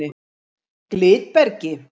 Glitbergi